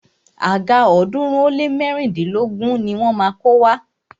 Àga ọ̀ọ́dúnrún ó lé mẹ́rìndínlógún ni wọ́n má a kó wá.